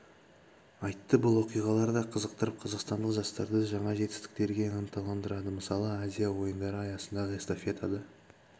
айтты бұл оқиғалар да қызықтырып қазақстандық жастарды жаңа жетістіктерге ынталандырады мысалы азия ойындары аясындағы эстафетада